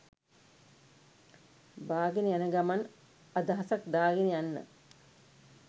බාගෙන යන ගමන් අදහසක් දාගෙන යන්න